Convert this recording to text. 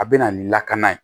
A bɛ na ni lakana ye